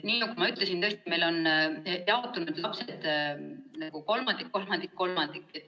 Nii nagu ma ütlesin, tõesti, meil on lapsed jaotunud n-ö kolmandik-kolmandik-kolmandik.